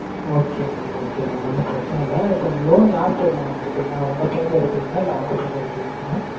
okay mam okay mam. ஒன்னும் பிரச்சினை இல்ல. இப்போ loan யார் பேர்ல mam எடுக்கறீங்க? உங்க பேர்ல எடுக்கறீங்களா இல்ல அவங்க பேர்ல எடுக்கறீங்களா mam?